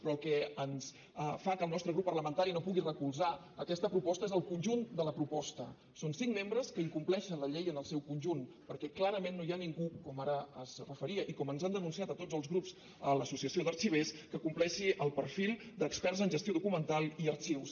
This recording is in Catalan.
però el que fa que el nostre grup parlamentari no pugui recolzar aquesta proposta és el conjunt de la proposta són cinc membres que incompleixen la llei en el seu conjunt perquè clarament no hi ha ningú com ara s’hi referia i com ens han denunciat a tots els grups l’associació d’arxivers que compleixi el perfil d’experts en gestió documental i arxius